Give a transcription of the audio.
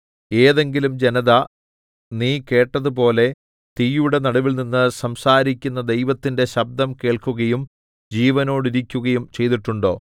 ഏതെങ്കിലും ജനത നീ കേട്ടതുപോലെ തീയുടെ നടുവിൽനിന്ന് സംസാരിക്കുന്ന ദൈവത്തിന്റെ ശബ്ദം കേൾക്കുകയും ജീവനോടിരിക്കുകയും ചെയ്തിട്ടുണ്ടോ